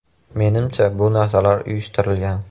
Menimcha, bu narsalar uyushtirilgan.